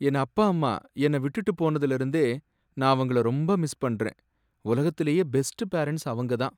என் அப்பா அம்மா என்ன விட்டு போனதுல இருந்தே நான் அவங்கள ரொம்ப மிஸ் பண்றேன். உலகத்துலேயே பெஸ்ட் பேரண்ட்ஸ் அவங்கதான்.